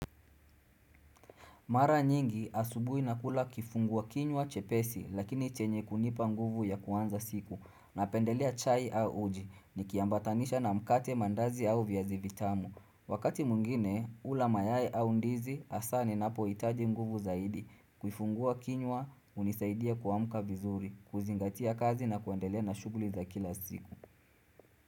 Mara nyingi asubuhi nakula kifungua kinywa chepesi lakini chenye kunipa nguvu ya kuanza siku na pendelea chai au uji ni kiambatanisha na mkate mandazi au viaza ivitamu. Wakati mwingine ula mayai au ndizi asa ni napohitaji nguvu zaidi kufungua kinywa unisaidia kuamka vizuri kuzingatia kazi na kuandele na shughuli za kila siku.